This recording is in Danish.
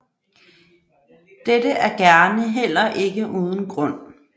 Dette er gerne heller ikke uden grund